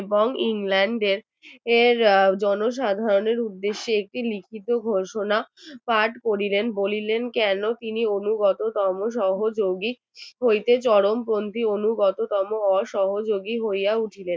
এর জনসাধারণের উদ্দেশ্যে একটি লিখিত ঘোষণা পাঠ করলেন বলিলেন কেন তিনি অনুগত তম সহযোগীর হইতে চরমপন্থীর অনুগততম পর পর সহযোগী হইয়া উঠিলেন